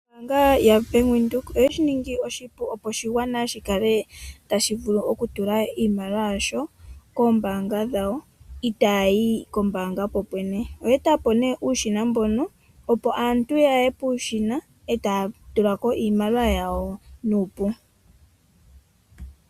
Ombanga yoBank Windhoek oye shi ningi oshipu opo oshigwana shi kale tashi vulu okutula iimaliwa yasho koombanga dhawo itayi yi kombanga kokwene, oye etapo ne uushina mbono opo aantu yaye puushina e taya tulako iimaliwa yawo nuupu.